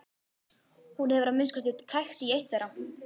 Hún hefur að minnsta kosti krækt í eitt þeirra.